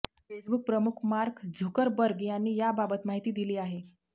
Facebook प्रमुख Mark Zuckerberg यांनी याबाबत माहिती दिली आहे